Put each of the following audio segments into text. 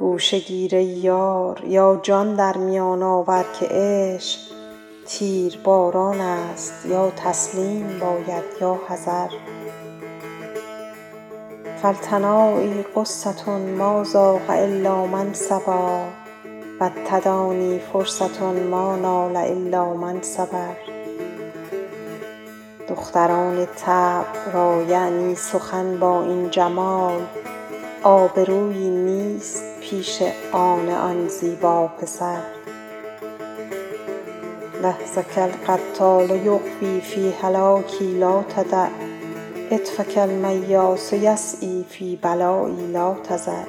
گوشه گیر ای یار یا جان در میان آور که عشق تیرباران است یا تسلیم باید یا حذر فالتنایی غصة ما ذاق إلا من صبا و التدانی فرصة ما نال إلا من صبر دختران طبع را یعنی سخن با این جمال آبرویی نیست پیش آن آن زیبا پسر لحظک القتال یغوی فی هلاکی لا تدع عطفک المیاس یسعیٰ فی بلایی لا تذر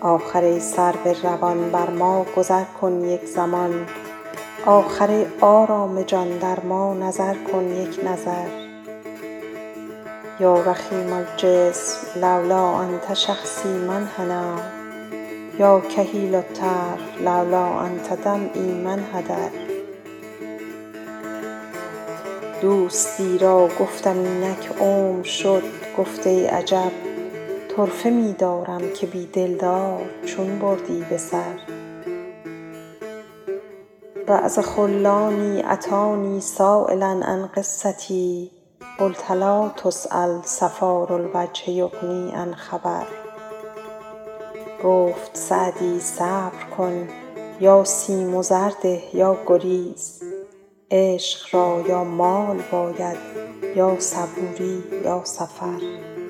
آخر ای سرو روان بر ما گذر کن یک زمان آخر ای آرام جان در ما نظر کن یک نظر یا رخیم الجسم لولا أنت شخصی ما انحنیٰ یا کحیل الطرف لولا أنت دمعی ما انحدر دوستی را گفتم اینک عمر شد گفت ای عجب طرفه می دارم که بی دلدار چون بردی به سر بعض خلانی أتانی سایلا عن قصتی قلت لا تسأل صفار الوجه یغنی عن خبر گفت سعدی صبر کن یا سیم و زر ده یا گریز عشق را یا مال باید یا صبوری یا سفر